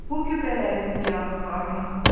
Bu gübrələrin ziyanı varmı?